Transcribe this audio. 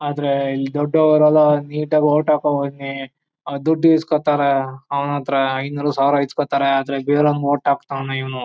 ಆದರೆ ಇಲ್ಲಿ ದೊಡ್ಡವರೆಲ್ಲ ನೀಟಾಗಿ ವೋಟ್ ಹಾಕೋಬೇಕು. ಆ ದುಡ್ಡು ಈಸ್ಕೋತಾರೆ ಅವನತ್ರ ಐನೂರು ಸಾವಿರ ಈಸ್ಕೋತಾರೆ ಆದರೆ ಬೇರೆಯವರಿಗೆ ವೋಟ್ ಹಾಕ್ತಾವ್ನೆ ಇವ್ನು.